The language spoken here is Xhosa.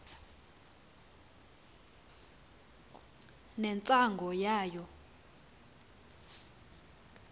ne ngcwangu yayo